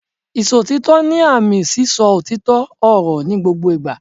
Ìsòtítọ́ ni àmì sí sọ òtítọ́ ọ̀rọ̀ ní gbogbo ìgbà